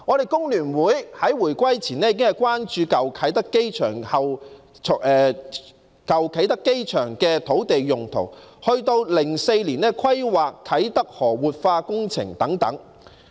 香港工會聯合會在回歸前已經關注舊啟德機場的土地用途，一直到2004年規劃啟德河活化工程等。